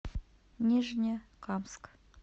нижнекамск